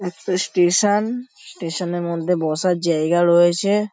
একটি station station -এর মধ্যে বসার জায়গা রয়েছে।